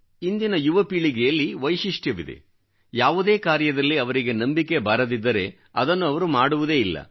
ಇಂದಿನ ಯುವಪೀಳಿಗೆಯಲ್ಲಿರುವ ವೈಶಿಷ್ಟ್ಯವೇನೆಂದರೆ ಯಾವುದೇ ಕಾರ್ಯದಲ್ಲಿ ಅವರಿಗೆ ನಂಬಿಕೆ ಬಾರದಿದ್ದರೆ ಅದನ್ನು ಅವರು ಮಾಡುವುದೇ ಇಲ್ಲ